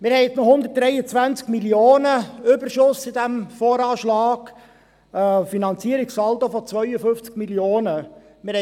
Wir haben etwa 123 Mio. Franken Überschuss in diesem VA, einen Finanzierungssaldo von 52 Mio. Franken.